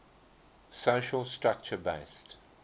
social structure based